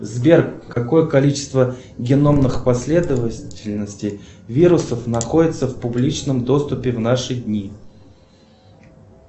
сбер какое количество геномных последовательностей вирусов находится в публичном доступе в наши дни